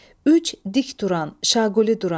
Üç, dik duran, şaquli duran.